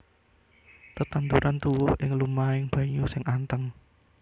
Tetanduran tuwuh ing lumahing banyu sing anteng